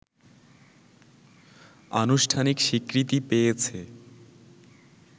আনুষ্ঠানিক স্বীকৃতি পেয়েছে